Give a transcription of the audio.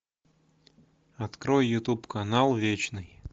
открой ютуб канал вечный